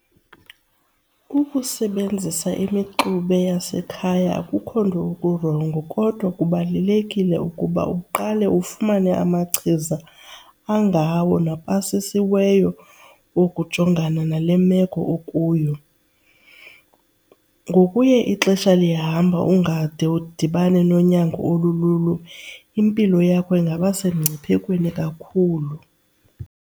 Ukusebenzisa imixube yasekhaya akukho nto kurongo kodwa kubalulekile ukuba uqale ufumane amachiza angawo napasisiweyo wokujongana nale meko okuyo. Ngokuya ixesha lihamba ungade udibane nonyango olululo impilo yakho ingaba semngciphekweni kakhulu.